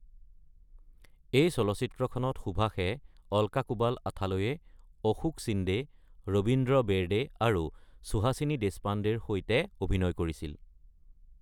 এই চলচ্চিত্ৰখনত সুভাষে অলকা কুবাল আথালয়ে, অশোক চিন্দে, ৰবীন্দ্ৰ বেৰ্ডে আৰু সুহাসিনী দেশপাণ্ডেৰ সৈতে অভিনয় কৰিছিল।